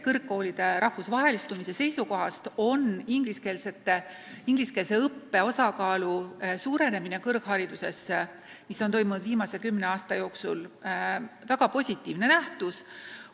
Kõrgkoolide rahvusvahelistumise seisukohast on ingliskeelse õppe osakaalu suurenemine, mis on toimunud viimase kümne aasta jooksul, väga positiivne nähtus.